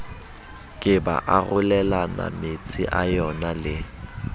ke ba arolelanametsi a yonale